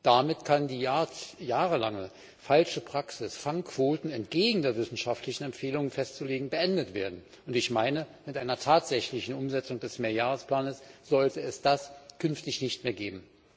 Damit kann die jahrelange falsche Praxis, Fangquoten entgegen den wissenschaftlichen Empfehlungen festzulegen, beendet werden, und ich meine, mit einer tatsächlichen Umsetzung des Mehrjahresplanes sollte es das künftig nicht mehr geben.